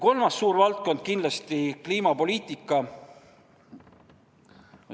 Üks suur teema on kliimapoliitika.